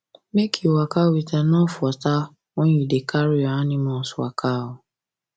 make u waka with enough water when you da carry your animals waka